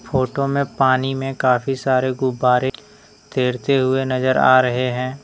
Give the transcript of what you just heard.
Photo में पानी में काफी सारे गुब्बारे तैरते हुए नजर आ रहे हैं।